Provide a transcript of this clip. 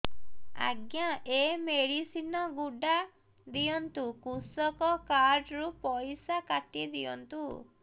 ଆଜ୍ଞା ଏ ମେଡିସିନ ଗୁଡା ଦିଅନ୍ତୁ କୃଷକ କାର୍ଡ ରୁ ପଇସା କାଟିଦିଅନ୍ତୁ